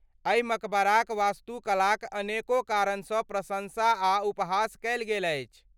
एहि मकबराक वास्तुकलाक अनेको कारणसँ प्रशंसा आ उपहास कयल गेल अछि।